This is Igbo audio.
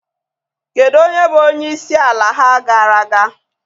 Kedu onye bụ onye isi ala ha gara aga?